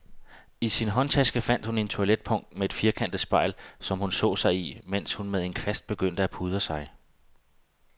I sin håndtaske fandt hun et toiletpung med et firkantet spejl, som hun så sig i, mens hun med en kvast begyndte at pudre sig.